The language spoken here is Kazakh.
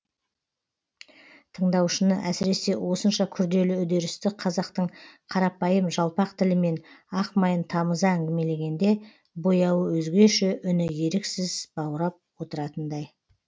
тыңдаушыны әсіресе осынша күрделі үдерісті қазақтың қарапайым жалпақ тілімен ақ майын тамыза әңгімелегенде бояуы өзгеше үні еріксіз баурап отыратындай